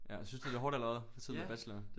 Ja synes du det er hårdt eller hvad for tiden med bacheloren